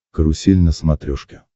карусель на смотрешке